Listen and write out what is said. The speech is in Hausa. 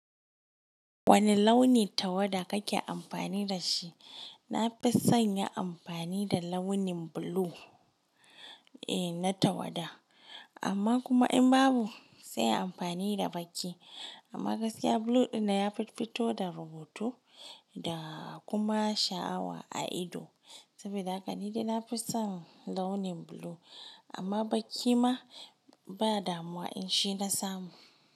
Wane launi tawada kake amfani da shi? Na fi son yin amfani da launin blue, eh na tawada. Amma kuma in babu sai in amfani da baƙi. Amma gaskiya blue ɗin na ya fi fito da rubutu da kuma sha'awa a ido. Saboda haka ni dai na fi son launin blue. Amma baƙi ma ba damuwa in shi na samu.